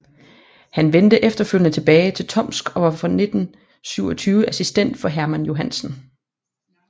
Han vendte efterfølgende tilbage til Tomsk og var fra 1927 assistent for Hermann Johansen